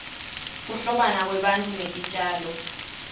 kuhlobana kwebantu netitjalo